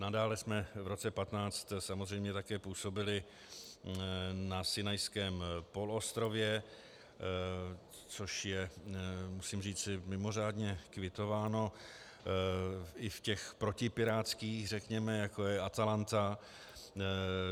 Nadále jsme v roce 2015 samozřejmě také působili na Sinajském poloostrově, což je, musím říci, mimořádně kvitováno, i v těch protipirátských, řekněme, jako je Atalanta.